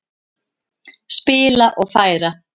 Spila og færa.